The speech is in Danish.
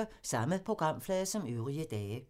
Samme programflade som øvrige dage